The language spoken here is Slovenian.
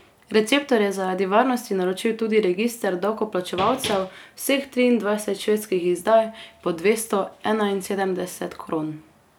Receptor je zaradi varnosti naročil tudi register davkoplačevalcev, vseh triindvajset švedskih izdaj, po dvesto enainsedemdeset kron.